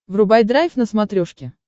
врубай драйв на смотрешке